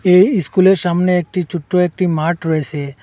এই ইস্কুলের সামনে একটি ছোট্ট একটি মাঠ রয়েসে।